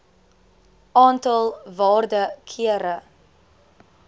aantal waarde kere